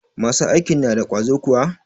Masu aikin na da ƙwazo kuwa?